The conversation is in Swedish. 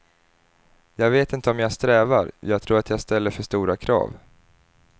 Jag vet inte om jag strävar, jag tror att jag ställer för stora krav.